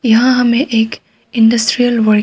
यहां हमें एक इंडस्ट्रियल --